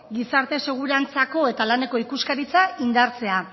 gizarte segurantzako eta laneko ikuskaritza indartzea